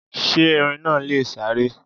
Sé Erin náa lè sáré?